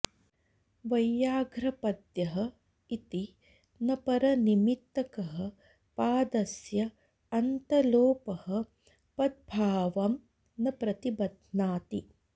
वैयाघ्रपद्यः इति न परनिमित्तकः पादस्य अन्तलोपः पद्भावं न प्रतिबध्नाति